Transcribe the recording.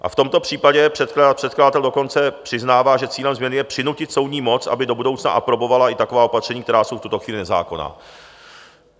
A v tomto případě předkladatel dokonce přiznává, že cílem změny je přinutit soudní moc, aby do budoucna aprobovala i taková opatření, která jsou v tuto chvíli nezákonná.